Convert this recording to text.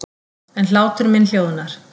En hlátur minn hljóðnar.